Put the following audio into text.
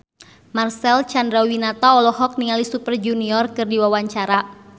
Marcel Chandrawinata olohok ningali Super Junior keur diwawancara